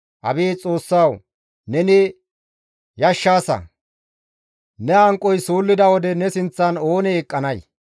Abeet Xoossawu! Neni yashshaasa! Ne hanqoy suullida wode ne sinththan oonee eqqanay?